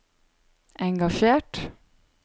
engasjert